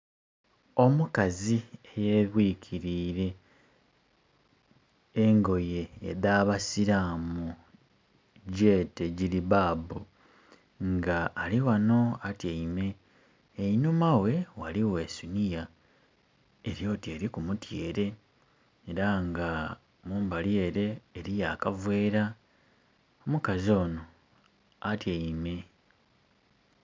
Omukazi eyebwikirire engoye edha basilamu gyete giribabu nga alighano atyeime, einhuma ghe ghaligho esuniya eryoti eriku mutyere nga mubali ere eriyo akavera. Omukazi ono atyeime.